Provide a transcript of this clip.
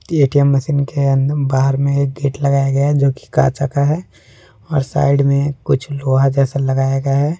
ATM machine के अंद बाहर में एक गेट लगाया गया जो की काचा का है और साइड में कुछ लोहा जैसा लगाया गया है।